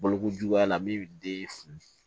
Balokojuguya la min bɛ den